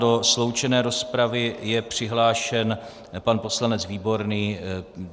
Do sloučené rozpravy je přihlášen pan poslanec Výborný.